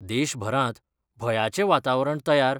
देशभरात भयाचे वातावरण तयार